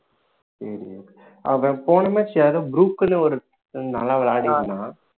ஆஹ் அவன் போன match யாரோ க்குள்ள ஒரு நல்லா விளையாடி இருந்தான்